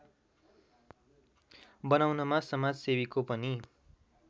बनाउनमा समाजसेवीको पनि